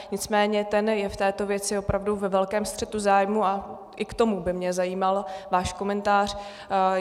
Nicméně ten je v této věci opravdu ve velkém střetu zájmů a i k tomu by mě zajímal váš komentář.